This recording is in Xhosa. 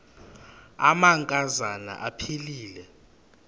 amanka zana aphilele